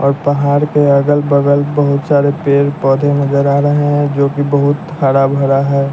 और पहाड़ के अगल बगल बहुत सारे पेड़ पौधे नजर आ रहे हैं जो कि बहुत हरा भरा है।